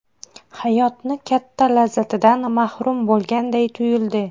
Hayotni katta lazzatidan mahrum bo‘lganday tuyuldi.